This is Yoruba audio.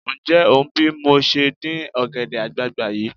Ǹjẹ́ ò ń bí mo ṣe ń dín ọ̀gẹ̀dẹ̀ àgbààgbà yìí?